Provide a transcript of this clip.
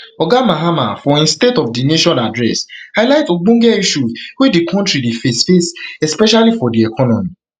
oga mahama for im state of di nation address highlight ogbonge issues wey di kontri dey face face especially for di economy